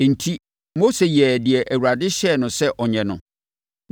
Enti, Mose yɛɛ deɛ Awurade hyɛɛ no sɛ ɔnyɛ no.